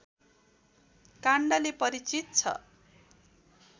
काण्डले परिचित छ